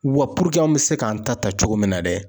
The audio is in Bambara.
Wa puruke an bɛ se k'an ta ta cogo min na dɛ